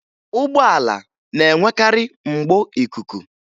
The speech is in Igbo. Ụgbọala na-enwekarị mgbo ikuku